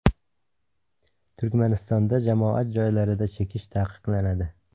Turkmanistonda jamoat joylarida chekish taqiqlanadi.